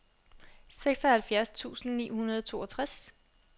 seksoghalvfjerds tusind ni hundrede og toogtres